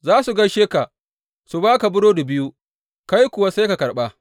Za su gaishe ka, su ba ka burodi biyu, kai kuwa sai ka karɓa.